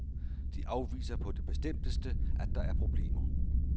De afviser på det bestemteste, at der er problemer.